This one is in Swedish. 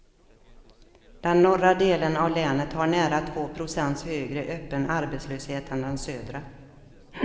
Den norra delen av länet har nära två procents högre öppen arbetslöshet än den södra.